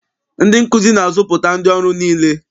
Ndị nkụzi na-azụpụta ndị ọrụ niile.